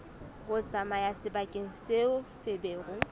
ho tsamaya sebakeng seo feberu